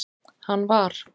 hann var.